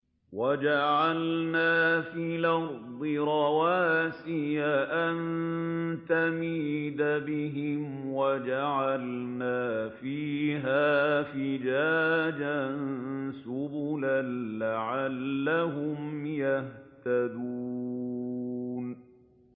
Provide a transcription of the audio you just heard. وَجَعَلْنَا فِي الْأَرْضِ رَوَاسِيَ أَن تَمِيدَ بِهِمْ وَجَعَلْنَا فِيهَا فِجَاجًا سُبُلًا لَّعَلَّهُمْ يَهْتَدُونَ